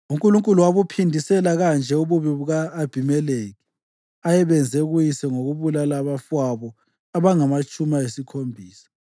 UNkulunkulu wabuphindisela kanje ububi u-Abhimelekhi ayebenze kuyise ngokubulala abafowabo abangamatshumi ayisikhombisa.